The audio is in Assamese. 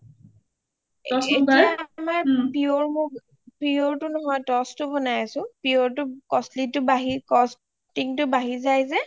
এতিয়া আমাৰ pure টো নহয় toss টো বনাই আছো. pure টো costing টো বাঢ়ি যাই যে